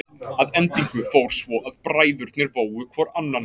Að endingu fór svo að bræðurnir vógu hvor annan.